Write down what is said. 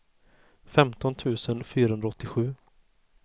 femton tusen fyrahundraåttiosju